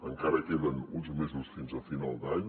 encara queden uns mesos fins a final d’any